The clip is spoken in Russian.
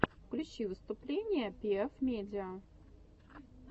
включи выступления пиэф медиа